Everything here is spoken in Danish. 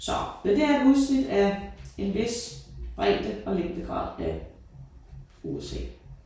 Så men det er et udsnit af en vis bredde og længdegrad af USA